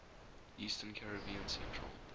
eastern caribbean central